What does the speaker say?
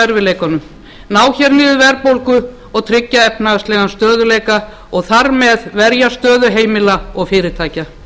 erfiðleikunum ná hér niður verðbólgu og tryggja efnahagslegan stöðugleika og þar með verja stöðu heimila og fyrirtækja